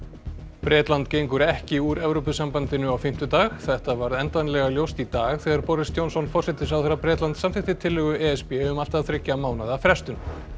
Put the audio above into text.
Bretland gengur ekki úr Evrópusambandinu á fimmtudag þetta varð endanlega ljóst í dag þegar Boris Johnson forsætisráðherra Bretlands samþykkti tillögu e s b um allt að þriggja mánaða frestun